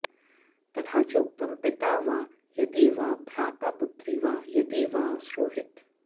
तथा चोक्तम् पिता वा यदि वा भ्राता पुत्री वा यदि वा सुहृत्